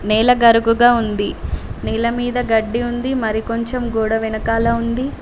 నేల గరుకుగా ఉంది నేల మీద గడ్డి ఉంది మరి కొంచెం గోడ వెనకాల ఉంది.